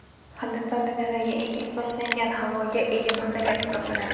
Hindiston dunyodagi eng ifloslangan havoga ega mamlakat hisoblanadi.